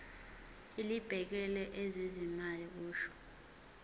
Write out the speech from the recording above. elibhekele ezezimali kusho